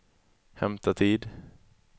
hämta tid